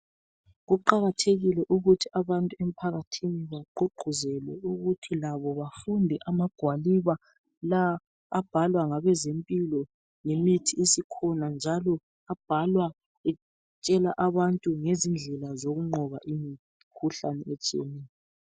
Kuqakathekile ukuthi abantu emphakathini bagqugquzelwe ukuthi labo bafunde amagwaliba lawa abhalwa ngabezempilo ngemithi esikhonala njalo abhalwa etshela ngezindlela zokunqoba imikhuhlane etshiyeneyo.